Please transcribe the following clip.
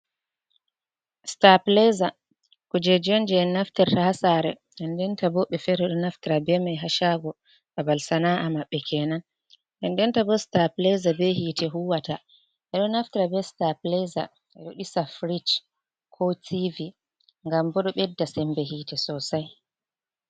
stablizer, kujeejii on jey en naftirta haa saare nden ndenta boo woɓɓe feere ɓo naftira bee mai haa caago, balbal sana’a maɓɓe kenan. Nden denta boo stablizer bee hiite huwata ɓe ɗo naftira bee stablizer ɓe ɗo ɗisa fridge koo tv ngam boo ɗo ɓedda semmbe hiite sosay.